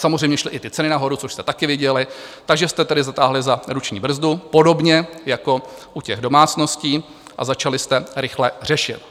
Samozřejmě šly i ty ceny nahoru, což jste taky viděli, takže jste tedy zatáhli za ruční brzdu podobně jako u těch domácností a začali jste rychle řešit.